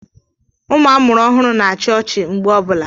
Ụmụ amụrụ ọhụrụ na-achị ọchị mgbe ọbụla.